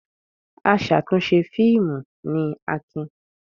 Aṣàtúnṣe fíìmù ni Akin.